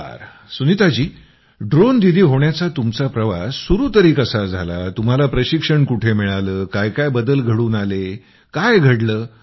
बरं सुनीताजी ड्रोन दीदी होण्याचा तुमचा प्रवास सुरू तरी कसा झाला तुम्हाला प्रशिक्षण कुठे मिळालं काय काय बदल घडून आले काय घडलं